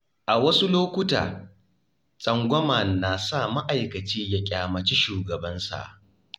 A wasu lokuta, tsangwama na sa ma'aikaci ya ƙyamaci shugabansa.